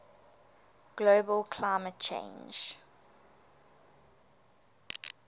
global climate change